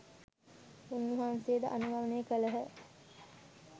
උන්වහන්සේ ද අනුගමනය කළහ.